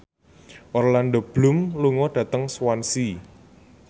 Orlando Bloom lunga dhateng Swansea